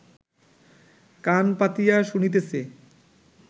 কান পাতিয়া শুনিতেছে